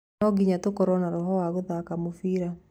No nginya tũkorwo na roho wa gũthaka mũbira